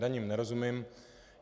Daním nerozumím.